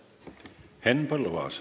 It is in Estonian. Henn Põlluaas.